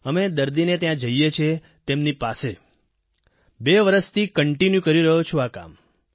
અમે દર્દીને ત્યાં જઈએ છીએ તેમની પાસે બે વર્ષથી કોન્ટિન્યુ કરી રહ્યો છું આ કામ